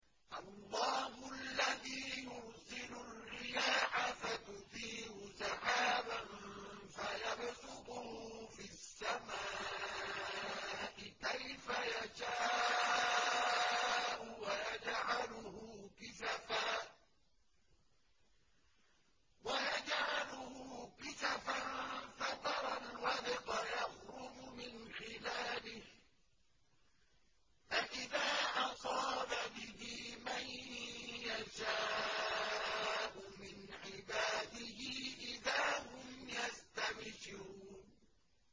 اللَّهُ الَّذِي يُرْسِلُ الرِّيَاحَ فَتُثِيرُ سَحَابًا فَيَبْسُطُهُ فِي السَّمَاءِ كَيْفَ يَشَاءُ وَيَجْعَلُهُ كِسَفًا فَتَرَى الْوَدْقَ يَخْرُجُ مِنْ خِلَالِهِ ۖ فَإِذَا أَصَابَ بِهِ مَن يَشَاءُ مِنْ عِبَادِهِ إِذَا هُمْ يَسْتَبْشِرُونَ